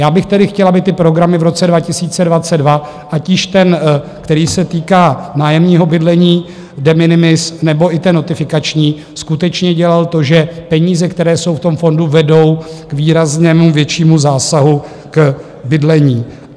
Já bych tedy chtěl, aby ty programy v roce 2022, ať již ten, který se týká nájemního bydlení, de minimis nebo i ten notifikační, skutečně dělal to, že peníze, které jsou v tom fondu, vedou k výraznému, většímu zásahu k bydlení.